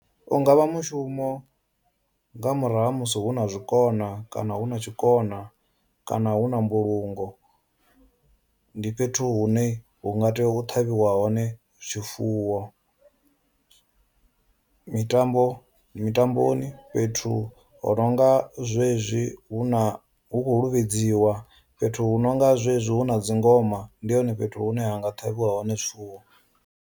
U nga vha mushumo nga murahu ha musi hu na zwikona kana hu na tshikona kana hu na mbulungo ndi fhethu hune hu nga tea u ṱhavhiwa hone zwifuwo mitambo mitamboni fhethu ho no nga zwezwi hu na hu khou luvhedziwa, fhethu hu no nga zwezwi hu na dzingoma ndi hone fhethu hune ha nga ṱhavhiwa hone zwifuwo.